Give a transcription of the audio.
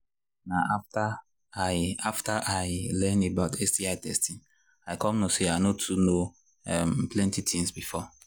na after i after i learn about sti testing i come know say i no too know um plenty things before